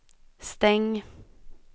stäng